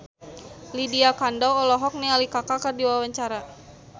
Lydia Kandou olohok ningali Kaka keur diwawancara